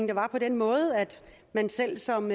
der var på den måde at man selv som